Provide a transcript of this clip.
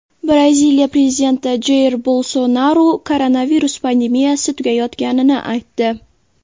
Braziliya prezidenti Jair Bolsonaru koronavirus pandemiyasi tugayotganini aytdi.